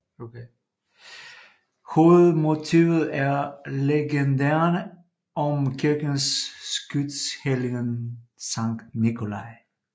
Hovedmotivet er legenderne om kirkens skytshelgen Sankt Nikolai